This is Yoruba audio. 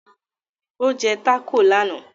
Ó jẹ́ tákò lánàá